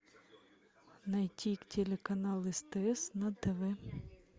найти телеканал стс на тв